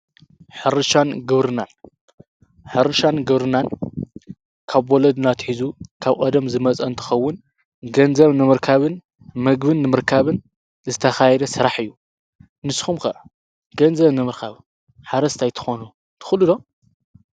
ሓርሻን ግብርናን ሕርሻን ግብርናን ካብ ወለድ ናትኂዙ ካብ ቐደም ዝመጸንትኸውን ገንዘም ምምርካብን መግብን ንምርካብን ዝተኻይደ ሠራሕ እዩ ንስኹምከ ገንዘም ንምህርካብ ሓረስት ኣይትኾኑ ትዂሉዶ?